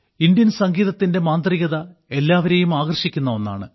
Indian സംഗീതത്തിന്റെ മാന്ത്രികത എല്ലാവരെയും ആകർഷിക്കുന്ന ഒന്നാണ്